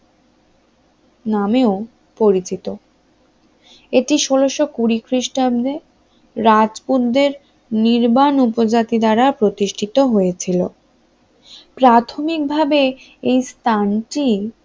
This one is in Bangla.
নামেও পরিচিত এটি ষোলশকুঁড়ি খ্রিস্টাব্দে রাজপুতদের নির্বাণ উপজাতি দ্বারা প্রতিষ্ঠিত হয়েছিল, প্রাথমিকভাবে এই স্থানটি